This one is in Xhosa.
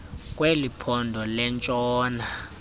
kweli phondo lentshona